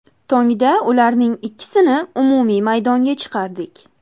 Tongda ularning ikkisini umumiy maydonga chiqardik.